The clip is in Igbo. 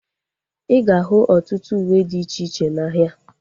Ịga ahu ọtụtụ uwe dị iche iche n'ahia